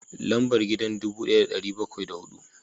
Lambar gidan dubu daya da dari bakwai da hudu